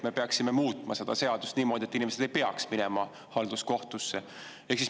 Me peaksime muutma seda seadust niimoodi, et inimesed ei peaks minema halduskohtusse.